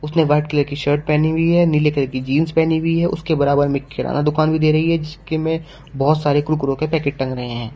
उसने white colour की shirt पहनी हुई है नीले कलर की जींस पहनी हुई है उसके बराबर में किराना दुकान भी दे रही है जिसके में बहोत सारे कुरकुरे के पैकेट टंग रहे हैं।